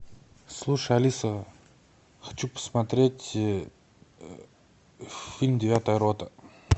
слушай алиса хочу посмотреть фильм девятая рота